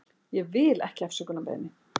Ég vil ekki afsökunarbeiðni.